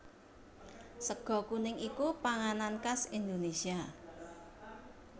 Sega kuning iku panganan khas Indonésia